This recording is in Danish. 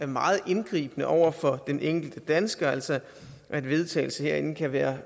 meget indgribende over for den enkelte dansker altså at en vedtagelse herinde kan være